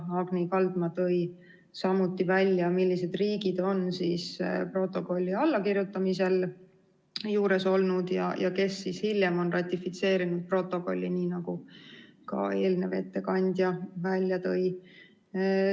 Agni Kaldma tõi välja, millised riigid on protokolli allakirjutamise juures olnud ja kes on hiljem ratifitseerinud protokolli, nii nagu ka eelnev ettekandja välja tõi.